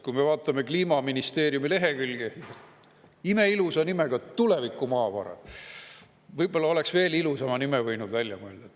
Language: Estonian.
Kliimaministeeriumi on imeilusa nimetusega lehekülg "Tulevikumaavarad" – võib-olla oleks veel ilusama nime võinud välja mõelda.